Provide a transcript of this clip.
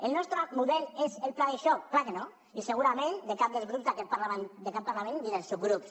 el nostre model és el pla de xoc és clar que no i segurament de cap dels grups d’aquest parlament ni dels subgrups